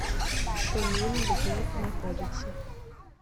шумим где находится